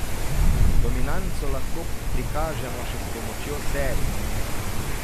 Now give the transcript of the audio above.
Dominanco lahko prikažemo še s pomočjo serij.